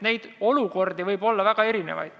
Neid olukordi võib olla väga erinevaid.